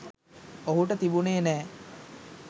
ඔහුට තිබුණේ නැහැ.